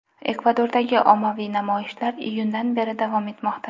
Ekvadordagi ommaviy namoyishlar iyundan beri davom etmoqda.